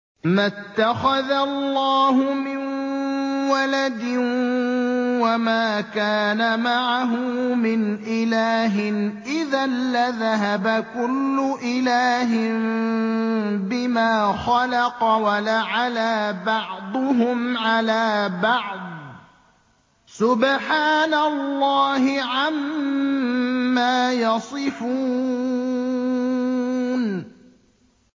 مَا اتَّخَذَ اللَّهُ مِن وَلَدٍ وَمَا كَانَ مَعَهُ مِنْ إِلَٰهٍ ۚ إِذًا لَّذَهَبَ كُلُّ إِلَٰهٍ بِمَا خَلَقَ وَلَعَلَا بَعْضُهُمْ عَلَىٰ بَعْضٍ ۚ سُبْحَانَ اللَّهِ عَمَّا يَصِفُونَ